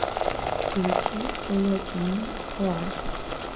включи локимин коалко